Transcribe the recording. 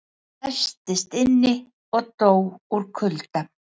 Læstist inni og dó úr kulda